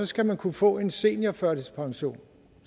skal man kunne få en seniorførtidspension